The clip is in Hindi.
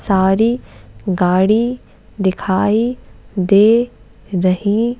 सारी गाड़ी दिखाई दे रही--